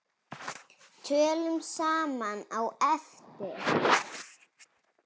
Tölum saman á eftir.